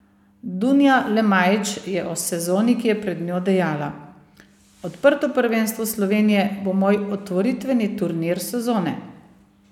Dunja Lemajić je o sezoni, ki je pred njo dejala: "Odprto prvenstvo Slovenije bo moj otvoritveni turnir sezone.